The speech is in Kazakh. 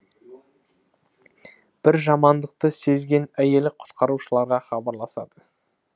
бір жамандықты сезген әйелі құтқарушыларға хабарласады